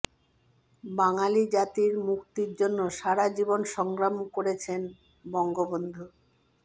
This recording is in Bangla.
বাঙালি জাতির মুক্তির জন্য সারা জীবন সংগ্রাম করেছেন বঙ্গবন্ধু